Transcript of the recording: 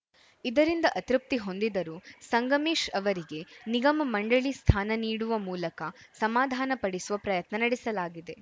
ಇದರಿಂದ ಅತೃಪ್ತಿ ಹೊಂದಿದರೂ ಸಂಗಮೇಶ್‌ ಅವರಿಗೆ ನಿಗಮ ಮಂಡಳಿ ಸ್ಥಾನ ನೀಡುವ ಮೂಲಕ ಸಮಾಧಾನಪಡಿಸುವ ಪ್ರಯತ್ನ ನಡೆಸಲಾಗಿದೆ